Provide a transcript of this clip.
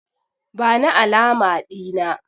Bani alama Dina!